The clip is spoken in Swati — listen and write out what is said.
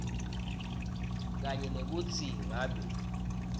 kanye nekutsi ngabe